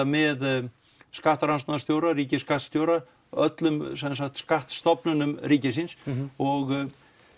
með skattrannsóknarstjóra ríkisskattstjóra öllum skattstofnunum ríkisins og